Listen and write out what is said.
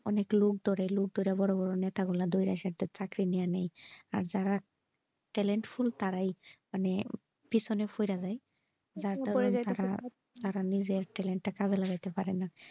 অনেক লোক ধরে লোক ধরে বোরো বোরো নেতা গুলা ধরা সে একটা চাকরি নিয়ে নাই আর যারা talented মানে পিছনে পরে যাই তারা নিজের talent টা কাজে লাগাতে পারে না।